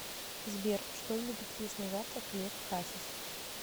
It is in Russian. сбер что любит есть на завтрак лев хасис